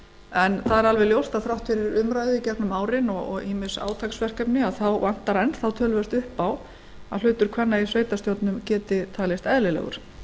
en það er alveg ljóst að þrátt fyrir umræðu í gegnum árin og ýmis átaksverkefni vantar enn þá töluvert upp á að hlutur kvenna í sveitarstjórnum geti talist eðlilegur